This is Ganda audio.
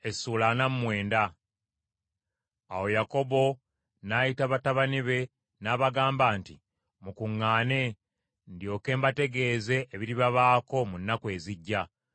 Awo Yakobo n’ayita batabani be n’abagamba nti, Mukuŋŋaane, ndyoke mbategeeze ebiribabaako mu nnaku ezijja.